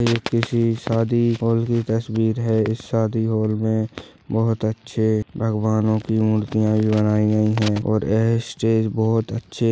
ये किसी शादी हॉल की तस्वीर है शादी हॉल मे बहुत अच्छे भगवनोओंकी मूर्तिया भी बनाई गयी है। और ये स्टेज बहुत अच्छे--